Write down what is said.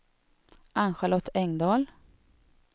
Ann-Charlotte Engdahl